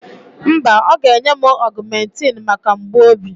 Mba, ọ ga-enye m augmentin maka mgbu obi.